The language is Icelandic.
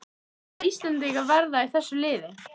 Hvaða íslendingar verða í þessu liði?